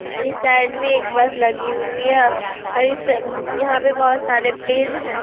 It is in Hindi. आर इस साइड में एक बस लगी हुई है और इस यहाँ पे बहुत सारे पेड़ हैं।